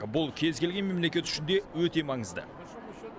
бұл кез келген мемлекет үшін де өте маңызды